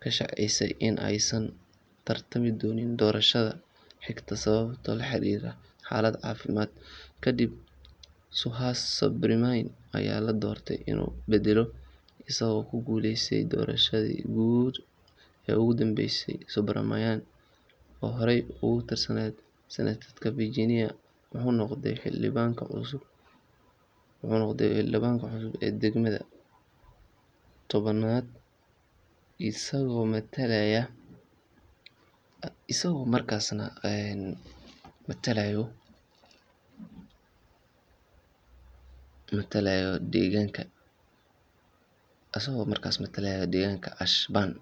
ka shaacisay in aysan u tartami doonin doorashada xigta sababo la xiriira xaalad caafimaad. Kadib, Suhas Subramanyam ayaa loo doortay inuu beddelo, isagoo ku guuleystay doorashadii guud ee ugu dambeysay. Subramanyam, oo horey uga tirsanaa Senate-ka Virginia, wuxuu noqday xildhibaanka cusub ee degmada tobnaad, isagoo matalaya deegaanka Ashburn.